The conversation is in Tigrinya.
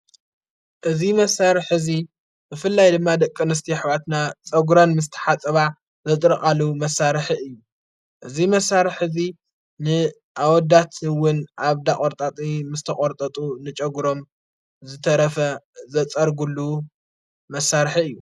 እዝ መሣርሕ ሕዚ ብፍላይ ድማ ደቂ አንስትዮ ኣኅዋትና ጸጕረን ምስ ተሓፅባ ዘድርቓሉ መሣርሕ እዩ እዙይ መሣር ሕዚ ንኣወዳትውን ኣብ ዳቖርጣጢ ምስ ተቖርጠጡ ንጨጕሮም ዘተረፈ ዘጸርጕሉ መሣርሕ እዩ::